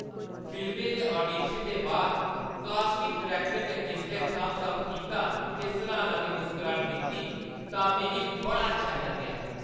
फिल्मा दे आडीशन दे बाद कास्टिंग डायरैक्टर ने जिसलै थम्स अप कीता ते सराह्‌ना दी मुस्कराह्‌ट दित्ती तां मिगी बड़ा शैल लग्गेआ।